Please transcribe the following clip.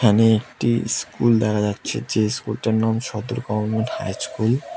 এখানে একটি স্কুল দেখা যাচ্ছে যে স্কুলটার নাম সদর গভর্নমেন্ট হাই ইচকুল ।